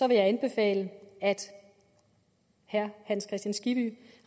vil jeg anbefale at herre hans kristian skibby